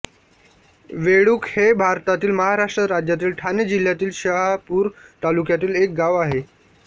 वेळुक हे भारतातील महाराष्ट्र राज्यातील ठाणे जिल्ह्यातील शहापूर तालुक्यातील एक गाव आहे